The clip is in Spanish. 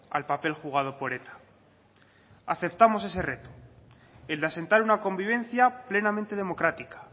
al papel jugado por eta aceptamos ese reto el de asentar una convivencia plenamente democrática